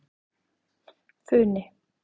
Funi